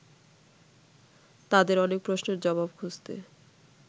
তাঁদের অনেক প্রশ্নের জবাব খুঁজতে